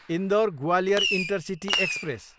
Indore, Gwalior intercity express